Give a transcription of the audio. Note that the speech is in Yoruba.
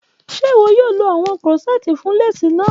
Ṣe iwọ yoo lo awọn corsets fun lace naa?